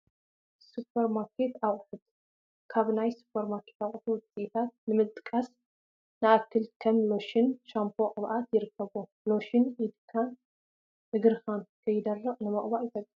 ሱፐር ማርኬት ኣቕሑት፡- ካብ ናይ ሱፐርማርኬት ኣቕሑት ውፅኢታት ንምጥቃስ ንኣክል ከም ሎሽን፣ ሻምፖን ቅብኣትን ይርከብዎም፡፡ ሎሽን ኢድናን እግርናን ከይደርቅ ንምቕባእ ይጠቅም፡፡